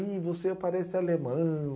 Ih, você parece alemão.